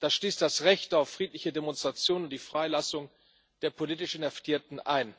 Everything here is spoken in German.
Das schließt das Recht auf friedliche Demonstrationen und die Freilassung der politisch Inhaftierten ein.